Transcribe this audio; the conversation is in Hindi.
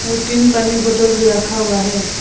और ती पानी बोटल भी रखा हुआ हैं।